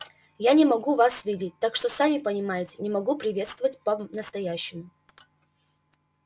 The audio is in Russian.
я не могу вас видеть так что сами понимаете не могу приветствовать по-настоящему